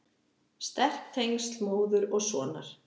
Sterk tengsl móður og sonar.